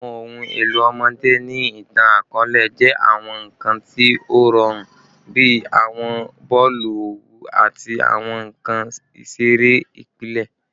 Awọn ohun elo ọmọde ni itan-akọọlẹ jẹ awọn nkan ti o rọrun bi awọn boolu owu ati awọn nkan isere ipilẹ